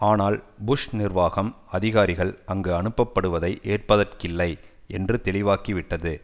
ஆனால் புஷ் நிர்வாகம் அதிகாரிகள் அங்கு அனுப்பப்படுவதை ஏற்பதற்கில்லை என்று தெளிவாக்கிவிட்டது